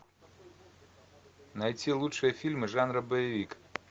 найти лучшие фильмы жанра боевик